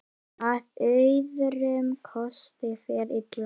Að öðrum kosti fer illa.